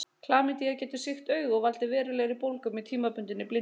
Klamydía getur sýkt augu og valdið verulegri bólgu með tímabundinni blindu.